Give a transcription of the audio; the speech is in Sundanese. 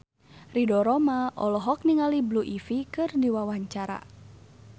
Ridho Roma olohok ningali Blue Ivy keur diwawancara